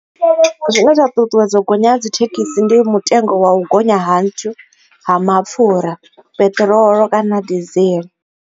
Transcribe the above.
Zwine zwa ṱuṱuwedza u gonya ha dzi thekhisi ndi mutengo wa u gonya ha nthu ha mapfhura peṱirolo kana desiel.